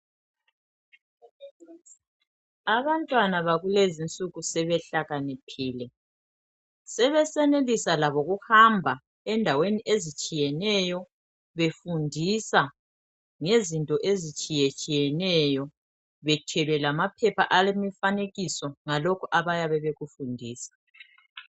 Abantwana bakulezi insuku sebehlakaniphile, sebesenelisa labo ukuhamba endaweni ezitshiyeneyo befundisa ngezinto ezitshiyetshiyeneyo bethwele lamaphepha alemifanekiso ngalokhu abayabe bekufundisa.